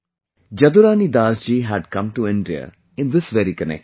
Jadurani Dasi ji had come to India in this very connection